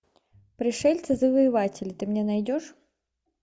пришельцы завоеватели ты мне найдешь